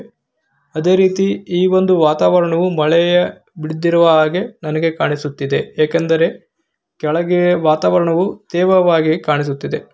ಅದೇ ರೀತಿ ಈ ಒಂದು ವಾತಾವರಣ ಮಳೆ ಬೀಡುತ್ತಿರುವಂತಹ ಹಾಗೆ ನನಗೆ ಕಾಣಿಸುತ್ತಿದೆ ಏಕೆಂದರೆ ದೇವವಾಗಿರುವ ರೀತಿ ಕಾಣಿಸುತ್ತಿದೆ.